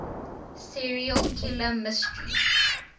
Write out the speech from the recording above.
serial killer mystery